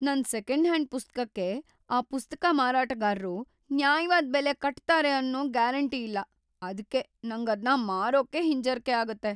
ನನ್ second hand ಪುಸ್ತಕಕ್ಕೆ ಆ ಪುಸ್ತಕ ಮಾರಾಟಗಾರ್ರು ನ್ಯಾಯವಾದ್ ಬೆಲೆ ‌ಕಟ್ತಾರೆ ಅನ್ನೋ ಗ್ಯಾರಂಟಿ ಇಲ್ಲ, ಅದ್ಕೇ ನಂಗದ್ನ ಮಾರೋಕೇ ಹಿಂಜರ್ಕೆ ಆಗತ್ತೆ.